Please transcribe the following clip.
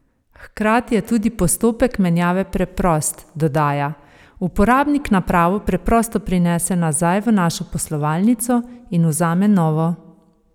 Hkrati je tudi postopek menjave preprost, dodaja: "Uporabnik napravo preprosto prinese nazaj v našo poslovalnico in vzame novo.